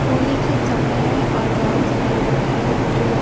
होली का समय है और बहुत सारे लोग हैं जो--